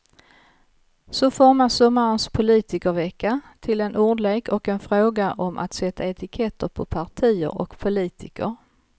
Så formas sommarens politikervecka till en ordlek och en fråga om att sätta etiketter på partier och politiker.